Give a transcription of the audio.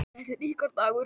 Þetta er ykkar dagur.